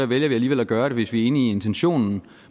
vi alligevel at gøre det hvis vi er enig i intentionen